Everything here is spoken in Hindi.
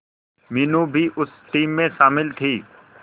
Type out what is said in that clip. मीनू भी उस टीम में शामिल थी